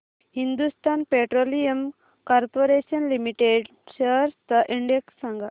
Hindustan petroleum corporation limited shares चा index सांगा